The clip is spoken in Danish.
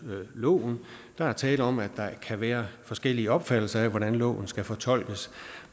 loven der er tale om at der kan være forskellige opfattelser af hvordan loven skal fortolkes